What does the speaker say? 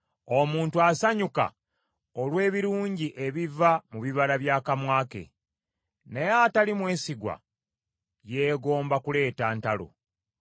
Omuntu asanyuka olw’ebirungi ebiva mu bibala bya kamwa ke, naye atali mwesigwa yeegomba kuleeta ntalo.